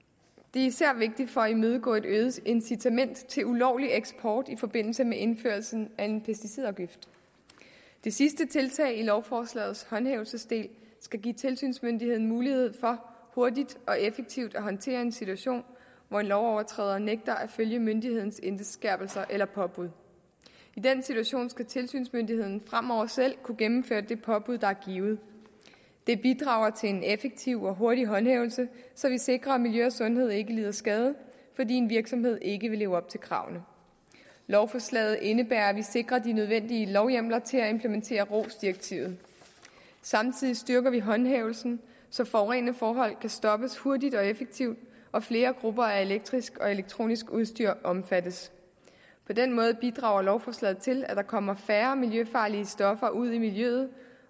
er især vigtigt for at imødegå et øget incitament til ulovlig eksport i forbindelse med indførelsen af en pesticidafgift det sidste tiltag i lovforslagets håndhævelsesdel skal give tilsynsmyndigheden mulighed for hurtigt og effektivt at håndtere en situation hvor en lovovertræder nægter at følge myndighedernes indskærpelse eller påbud i den situation skal tilsynsmyndigheden fremover selv kunne gennemføre det påbud der er givet det bidrager til en effektiv og hurtig håndhævelse så vi sikrer at miljø og sundhed ikke lider skade fordi en virksomhed ikke vil leve op til kravene lovforslaget indebærer at vi sikrer de nødvendige lovhjemler til at implementere rohs direktivet samtidig styrker vi håndhævelsen så forurenende forhold kan stoppes hurtigt og effektivt og flere grupper af elektrisk og elektronisk udstyr omfattes på den måde bidrager lovforslaget til at der kommer færre miljøfarlige stoffer ud i miljøet